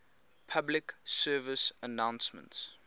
public service announcements